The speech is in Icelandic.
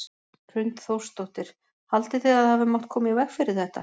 Hrund Þórsdóttir: Haldið þið að það hafi mátt koma í veg fyrir þetta?